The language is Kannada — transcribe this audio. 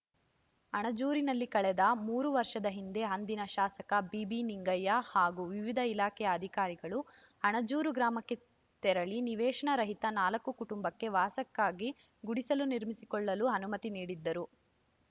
ಅಣಜೂರಿನಲ್ಲಿ ಕಳೆದ ಮೂರು ವರ್ಷದ ಹಿಂದೆ ಅಂದಿನ ಶಾಸಕ ಬಿಬಿನಿಂಗಯ್ಯ ಹಾಗೂ ವಿವಿಧ ಇಲಾಖೆ ಅಧಿಕಾರಿಗಳು ಅಣಜೂರು ಗ್ರಾಮಕ್ಕೆ ತೆರಳಿ ನಿವೇಶನ ರಹಿತ ನಾಲ್ಕು ಕುಟುಂಬಕ್ಕೆ ವಾಸಕ್ಕಾಗಿ ಗುಡಿಸಲು ನಿರ್ಮಿಸಿಕೊಳ್ಳಲು ಅನುಮತಿ ನೀಡಿದ್ದರು